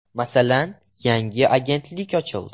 “Masalan, yangi agentlik ochildi.